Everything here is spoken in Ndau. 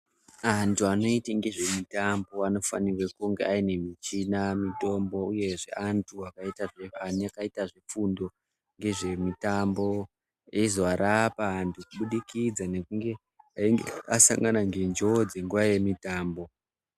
Antu anoite ngezvemitambo anofanirwa kunga aine michina mitombo, uyezve antu akaita zvefundo ngezvemitambo. Eizoarapa antu kubudikidza ngekunge asangana ngenjodzi nguva yemitambo.